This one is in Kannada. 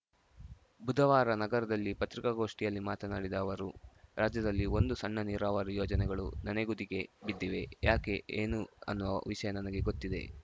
ಬುಧವಾರ ನಗರದಲ್ಲಿ ಪತ್ರಿಕಾಗೋಷ್ಠಿಯಲ್ಲಿ ಮಾತನಾಡಿದ ಅವರು ರಾಜ್ಯದಲ್ಲಿ ಒಂದು ಸಣ್ಣ ನೀರಾವರಿ ಯೋಜನೆಗಳು ನೆನೆಗುದಿಗೆ ಬಿದ್ದಿವೆ ಯಾಕೆ ಏನು ಅನ್ನುವ ವಿಷಯ ನನಗೆ ಗೊತ್ತಿದೆ